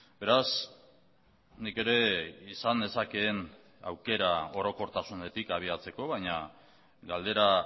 beraz nik ere izan nezakeen aukera orokortasunetik abiatzeko baina galdera